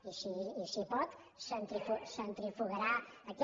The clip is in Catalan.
i si pot centrifugarà aquest